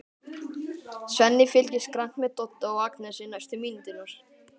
Svenni fylgist grannt með Dodda og Agnesi næstu mínúturnar.